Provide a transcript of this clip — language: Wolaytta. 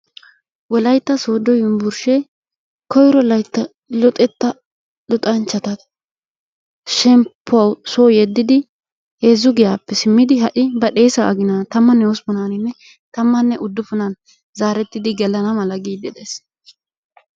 Wolaytta Soodo yunbburshshe koyro loytta luxanchchata shemp[puwaw soo yediddi heezzu giyaappe simmidi ha'i badhdhessa aginan tammanne hosppunaninne tammanne uddupunan zaretidi gelana mala giidi dees.